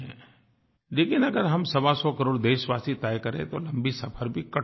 लेकिन अगर हम सवासौ करोड़ देशवासी तय करें तो लम्बी सफ़र भी कट सकती है